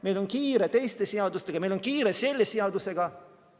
Meil on kiire teiste seadustega, meil on kiire selle seadusega.